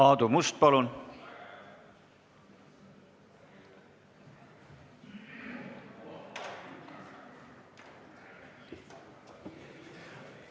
Aadu Must, palun!